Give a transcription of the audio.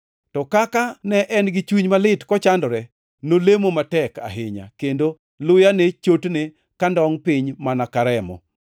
To kaka ne en gi chuny malit kochandore, nolemo matek ahinya, kendo luya ne chotne kandongʼ piny mana ka remo.